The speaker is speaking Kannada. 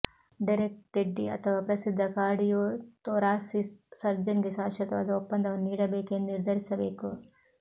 ಡೆರೆಕ್ ಟೆಡ್ಡಿ ಅಥವಾ ಪ್ರಸಿದ್ಧ ಕಾರ್ಡಿಯೋಥೊರಾಸಿಸ್ ಸರ್ಜನ್ಗೆ ಶಾಶ್ವತವಾದ ಒಪ್ಪಂದವನ್ನು ನೀಡಬೇಕೆ ಎಂದು ನಿರ್ಧರಿಸಬೇಕು